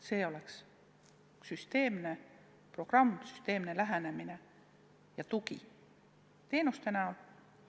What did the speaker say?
Vaja on süsteemset programmi, süsteemset lähenemist, vaja on tuge teenuste näol.